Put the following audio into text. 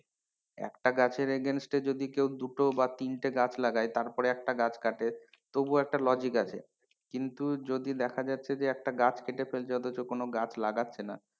একটা গাছের against এ যদি কেউ দুটো বা তিনটে গাছ লাগায় তারপরে একটা গাছ কাটে তবুও একটা logic আছে কিন্তু যদি দেখা যাচ্ছে যে একটা গাছ কেটে ফেলছে অথচ কোনো গাছ লাগাচ্ছে না,